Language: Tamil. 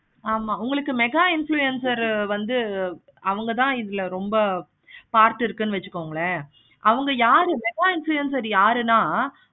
ஆமா உங்களுக்கு mega influencer ரூ வந்து அவங்கதான் இதுல ரொம்ப part இருக்கு வச்சிக்கோங்களே அவங்க யாரு mega influencer யாருன்னா